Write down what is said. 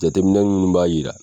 Jateminɛ minnu b'a yira